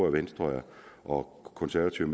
at venstre og konservative